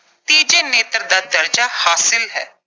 ਤੀਜੇ ਨੇਤਰ ਦਾ ਦਰਜਾ ਹਾਸਲ ਹੈ।